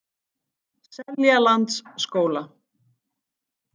Seljalandsskóla